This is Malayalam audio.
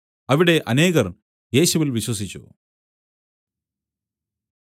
അവിടെ അനേകർ യേശുവിൽ വിശ്വസിച്ചു